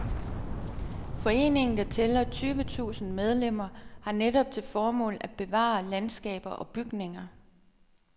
Foreningen, der tæller tyvetusinde medlemmer, har netop til formål at bevare landskaber og bygninger.